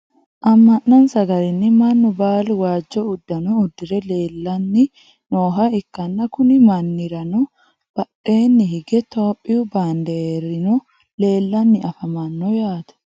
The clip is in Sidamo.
amma'nonsa garinni mannu baalu waajjo uddano uddire leelanni nooha ikkanna, kuni mannirano badheenni hige topiyu baanderino leelanni afamanno yaate .